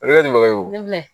O de ye ɲininkali wo